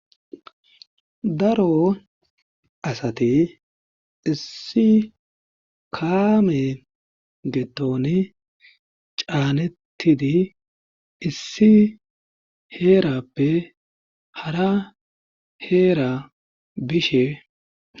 Daro asati issi kaame gidoni caanedi issi heerapphara haheera bishe.